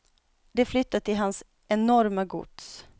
De flyttar till hans enorma gods.